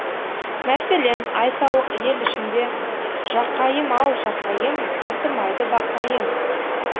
мәселен айталық ел ішінде жақайым ау жақайым татымайды бақайың